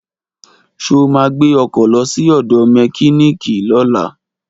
Ṣo ma gbé ọkọ̀ lọ sí ọ̀dọ̀ mẹkíníìkì lọ́la?